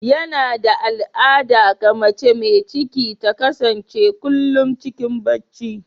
Yana da al'ada ga mace mai ciki ta kasance kullum cikin barci.